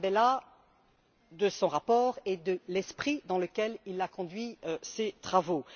Tarabella de son rapport et de l'esprit dans lequel il a conduit ses travaux.